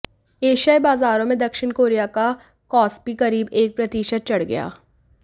एशियाई बाजारों में दक्षिण कोरिया का कॉस्पी करीब एक प्रतिशत चढ़ गया